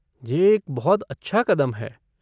ये एक बहुत अच्छा कदम है।